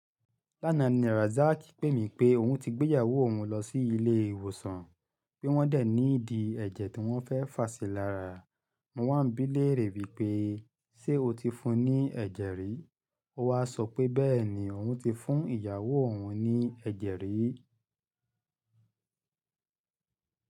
Lánàá ni Razak pè mí pé òun ti gbé ìyàwó òun lọ sí ilé ìwòsàn, pé wọ́n dè need ẹ̀jẹ̀ tí wọ́n fẹ́ fàṣi lára. Mo wá ń bí léèrè wípé, ṣé o ti fún un ní ẹ̀jẹ̀ rí? Ó wá sọ pé bẹ́ẹ̀ni, òun ti fún ìyàwó òun ní ẹ̀jẹ̀ rí.